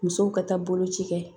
Musow ka taa boloci kɛ